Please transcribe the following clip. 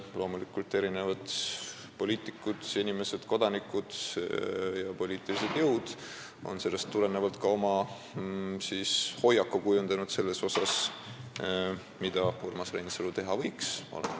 Loomulikult on sellest tulenevalt erinevad inimesed, kodanikud ja poliitilised jõud kujundanud ka oma hoiaku, mida Urmas Reinsalu teha võiks.